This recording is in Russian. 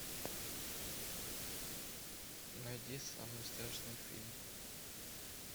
найди самый страшный фильм